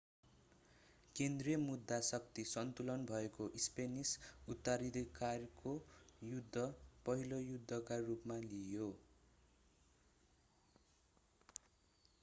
केन्द्रीय मुद्दा शक्ति सन्तुलन भएको स्पेनिस उत्तराधिकारको युद्ध पहिलो युद्धका रूपमा लिइयो